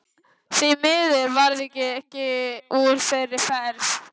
Því miður varð ekkert úr þeirri ferð.